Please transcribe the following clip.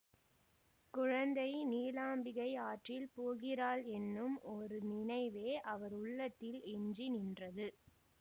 குழந்தை நீலாம்பிகை ஆற்றில் போகிறாளென்னும் ஒரு நினைவே அவர் உள்ளத்தில் எஞ்சி நின்றது